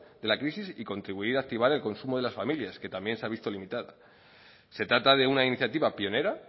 de la crisis y contribuir a activar el consumo de las familias que también se ha visto limitado se trata de una iniciativa pionera